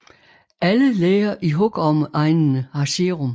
Alle læger i hugormeegnene har serum